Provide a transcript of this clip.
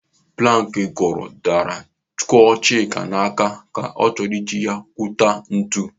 Planki kụrụ daara kụọ Chika n'aka ka ọ chọrọ iji ya kpụta ntụ.